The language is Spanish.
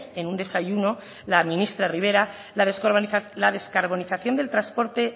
en un desayuno la ministra rivera la descarbonización del transporte